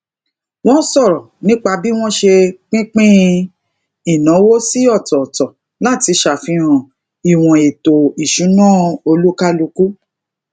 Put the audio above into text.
wọn sọrọ nípa bí wón ṣe pínpin inawo si otooto lati safihan iwon eto isuna olukaluku